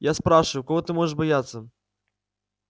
я спрашиваю кого ты можешь бояться